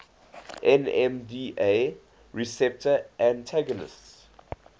nmda receptor antagonists